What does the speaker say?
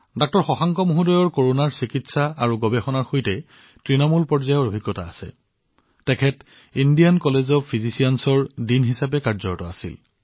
corona আৰু এই সম্পৰ্কীয় গৱেষণাৰ চিকিৎসাৰ ক্ষেত্ৰত ডাঃ শশাংকজীৰ যথেষ্ট অভিজ্ঞতা আছে তেওঁ ইণ্ডিয়ান কলেজ অব্ ফিজিচিয়ানৰ ডীনো আছিল